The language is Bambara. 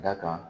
Da kan